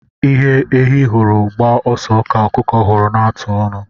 Ihe ehi hụrụ gbaa ọsọ ka ọkụkọ hụrụ na-atụ ọnụ.